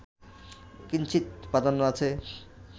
কিঞ্চিৎ প্রাধান্য আছে